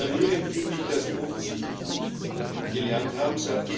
Alarmierend finde ich, dass wir offensichtlich nichts gelernt haben.